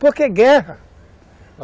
Porque guerra.